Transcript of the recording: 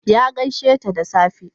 Ya gaisheta da safe.